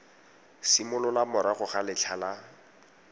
simolola morago ga letlha la